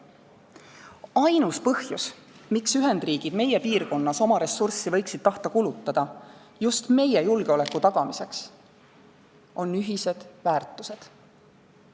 Ainus põhjus, miks Ühendriigid võiksid tahta oma ressurssi kulutada just meie piirkonnas meie julgeoleku tagamiseks, on ühised väärtused.